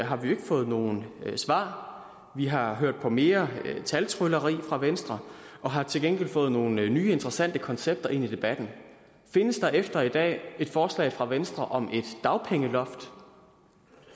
har vi ikke fået nogen svar vi har hørt på mere taltrylleri fra venstre og har til gengæld fået nogle nye interessante koncepter ind i debatten findes der efter i dag et forslag fra venstre om et dagpengeloft